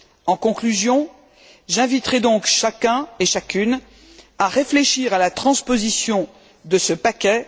En conclusion, j'inviterai donc chacun et chacune à réfléchir à la transposition de ce paquet.